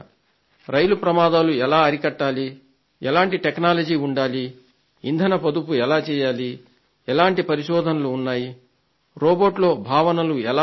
రైలు ప్రమాదాలు ఎలా అరికట్టాలి ఎలాంటి టెక్నాలజీ ఉండాలి ఇంధన పొదుపు ఎలా చేయాలి ఎలాంటి పరిశోధనలు ఉన్నాయి రోబో లో భావనలు ఎలా వస్తాయి